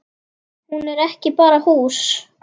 Hús er ekki bara hús